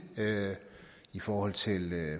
i forhold til